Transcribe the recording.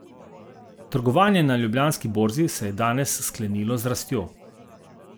Trgovanje na Ljubljanski borzi se je danes sklenilo z rastjo.